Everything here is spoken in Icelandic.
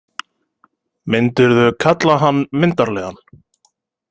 Myndirðu kalla hann myndarlegan?